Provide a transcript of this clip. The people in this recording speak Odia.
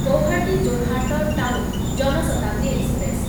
Guwahati Jorhat town Jan Shatabdi express